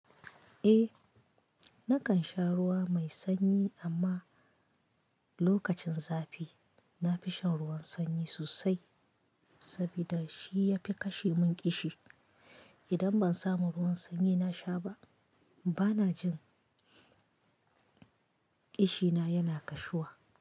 Eh, nakan sha ruwa mai sanyi amma lokacin zafi nafishan ruwan sanyi sosai sabida shi yafi kashe mun ƙishi. Idan ban samu ruwan sanyi nasha ba bana jin ƙishina yana kashuwa.